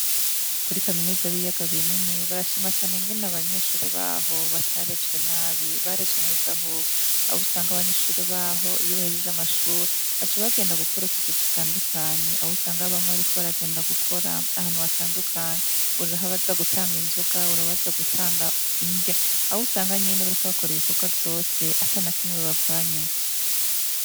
Kuri kaminuza y'Ibiyaga binini, barashima cane ingene abanyeshure baho batarezwe nabi, barezwe neza, ahubwo aho usanga abanyeshure baho iyo bahejeje amashuri baca bagenda gukora utuzi dutandukanye, aho usanga bamwe bariko baragenda gukora ahantu hatandukanye, uri abaza gutanga inzoga, uri abaza gutanga indya, aho usanga nyene bariko bakora ibikorwa vyose atanakimwe bavanyemwo.